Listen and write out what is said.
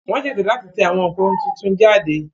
Wón ṣètò láti tẹ àwọn nǹkan tuntun jáde